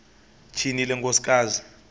tyhini le nkosikazi